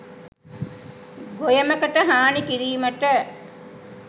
ගොයමකට හානි කිරීමට